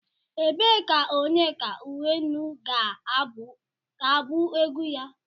Ebee ka Onyeka Onwenu ga-abụ egwu ya?